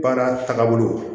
Baara tagabolo